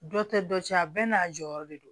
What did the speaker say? Dɔ tɛ dɔ cɛ a bɛɛ n'a jɔyɔrɔ de do